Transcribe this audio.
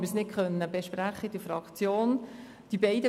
Zum einen konnten wir diese in der Fraktion nicht besprechen.